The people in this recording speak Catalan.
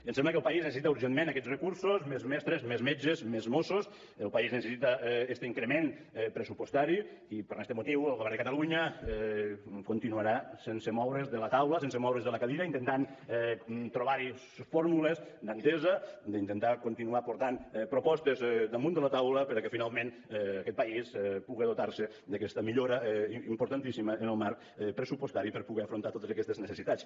em sembla que el país necessita urgentment aquests recursos més mestres més metges més mossos el país necessita este increment pressupostari i per este motiu el govern de catalunya continuarà sense moure’s de la taula sense moure’s de la cadira intentant trobar fórmules d’entesa d’intentar continuar portant propostes damunt de la taula perquè finalment aquest país pugui dotar se d’aquesta millora importantíssima en el marc pressupostari per poder afrontar totes aquestes necessitats